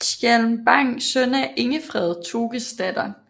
Skjalm Bang søn af Ingefred Tokesdatter